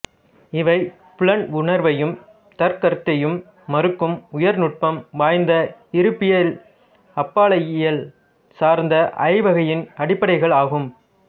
இவை புலன் உணர்வையும் தற்கருத்தையும் மறுக்கும் உயர்நுட்பம் வாய்ந்த இருப்பியல்அப்பாலையியல் சார்ந்த ஐயவகையின் அடிப்படைகள் ஆகும்